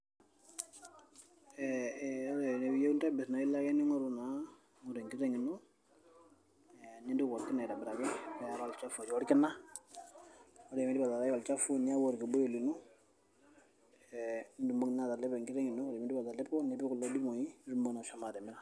ee ore ene piiyieu nintobirr naa ilo ake ning'oru naa ning'oru enkiteng ino ee nintuku orkina aitobiraki niaraa olchafu otii orkina ore piindip ataarai olchafu niyau orkibuyu lino nitumoki naa atalepo enkiteng ino ore piiindip naa atalepo nipik kulo dimui piitumoki naa ashomo atimira.